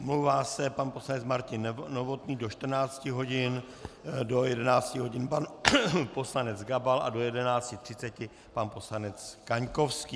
Omlouvá se pan poslanec Martin Novotný do 14 hodin, do 11 hodin pan poslanec Gabal a do 11.30 pan poslanec Kaňkovský.